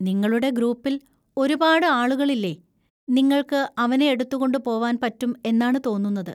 നിങ്ങളുടെ ഗ്രൂപ്പിൽ ഒരുപാട് ആളുകളില്ലേ, നിങ്ങൾക്ക് അവനെ എടുത്തുകൊണ്ട് പോവാൻ പറ്റും എന്നാണ് തോന്നുന്നത്.